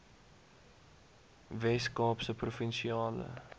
wes kaapse provinsiale